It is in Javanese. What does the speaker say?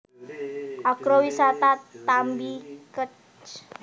Agrowisata Tambi Kec